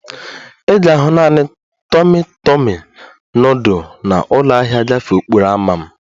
Ị ga-ahụ naanị tọmi tọmi nudul na ụlọ ahịa gafee okporo ámá m